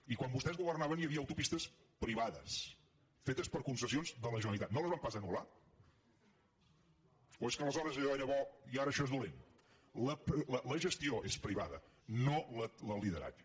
i quan vostès governaven hi havia autopistes privades fetes per concessions de la generalitat no les van pas anulallò era bo i ara això és dolent la gestió és privada no el lideratge